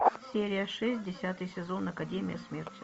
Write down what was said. серия шесть десятый сезон академия смерти